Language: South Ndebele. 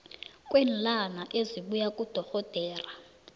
kweenlwana esibuya kudorhodera